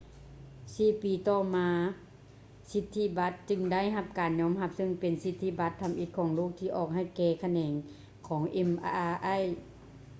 ສີ່ປີຕໍ່ມາສິດທິບັດຈຶ່ງໄດ້ຮັບການຍອມຮັບ ເຊິ່ງເປັນສິດທິບັດທຳອິດຂອງໂລກທີ່ອອກໃຫ້ແກ່ຂະແໜງຂອງ mri